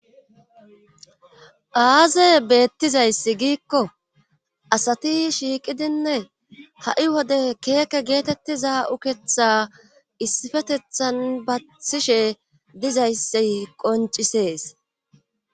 aaze beettizayssi giikko asati shiiqidinne ha7i wode keeke geetettiza uketha issifetethan bathishe dizayssi qoncisees